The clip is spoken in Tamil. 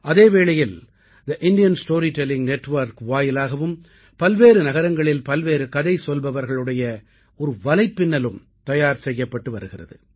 அதே வேளையில் the Indian story telling network வாயிலாகவும் பல்வேறு நகரங்களில் பல்வேறு கதை சொல்பவர்களுடைய ஒரு வலைப்பின்னலும் தயார் செய்யப்பட்டு வருகிறது